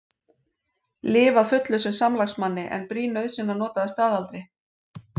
Lyf að fullu sem samlagsmanni er brýn nauðsyn að nota að staðaldri.